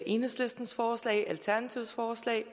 enhedslistens forslag alternativets forslag